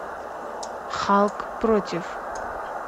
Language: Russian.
халк против